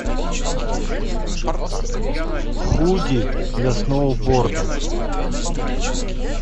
худи для сноуборда